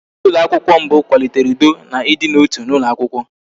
Onyeisi ụlọakwụkwọ mbụ kwalitere ụdọ na ịdị n'otu n'ụlọ akwụkwọ